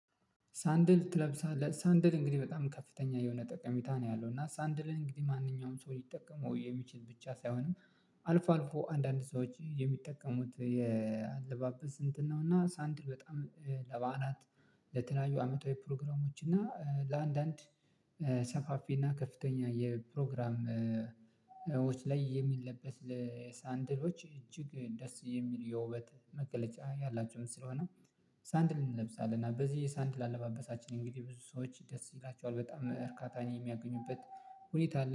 ሳንድል ትለብሳለህ ሳንድል እንግዲህ በጣም ከፍተኛ የሆነ ጠቀሜታ ነው ያለው እና ሳንድልን እንግዲህ ማንኛውም ሰው ሊጠቀሙ የሚችሉ ብቻ ሳይሆንም። አልፎ አልፎ አንዳንድ ሰዎች የሚጠቀሙት የአለባበስ ስንት? ነው እና ሳንድ በጣም ለባህላት ለተለያዩ አመታዊ ፕሮግራሞች እና ለአንዳንድ ሰፋፊ እና ከፍተኛ የፕሮግራሞች ላይ የሚለበስ ለሳንድሎች እጅግ ደስ የሚል የውበት መገለጫ ያላቸውም ስለሆነ። ሳንድል እንለብሳለን እና በዚህ ሳንድል አለባበሳችን እንግዲህ ብዙ ሰዎች ደስ ይላችኋል በጣም እርካታን የሚያገኙበት ሁኔታ ኣለ